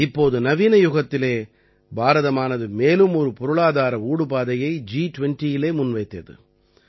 இப்போது நவீன யுகத்திலே பாரதமானது மேலும் ஒரு பொருளாதார ஊடுபாதையை ஜி 20இலே முன் வைத்தது